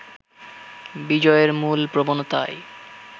বিজয়ের মূল প্রবণতাই